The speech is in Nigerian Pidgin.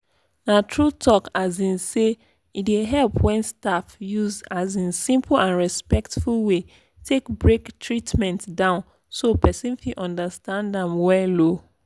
na true talk um sey e dey help when staff use um simple and respectful way take break treatment down so person fit understand am well. um